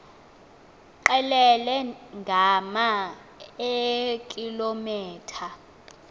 qelele ngama eekilometha